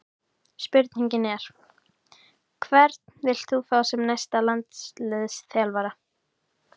Spurningin er: Hvern vilt þú fá sem næsta landsliðsþjálfara?